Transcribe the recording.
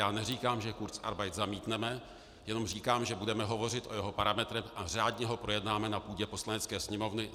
Já neříkám, že kurzarbeit zamítneme, jenom říkám, že budeme hovořit o jeho parametrech a řádně ho projednáme na půdě Poslanecké sněmovny.